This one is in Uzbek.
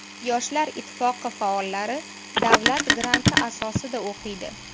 Yoshlar ittifoqi faollari davlat granti asosida o‘qiydi.